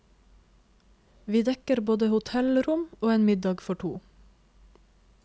Vi dekker både hotellrom og en middag for to.